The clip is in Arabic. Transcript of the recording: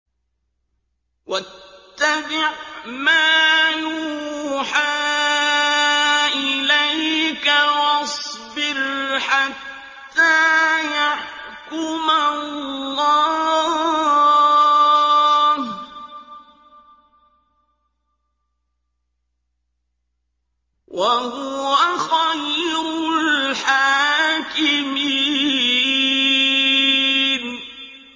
وَاتَّبِعْ مَا يُوحَىٰ إِلَيْكَ وَاصْبِرْ حَتَّىٰ يَحْكُمَ اللَّهُ ۚ وَهُوَ خَيْرُ الْحَاكِمِينَ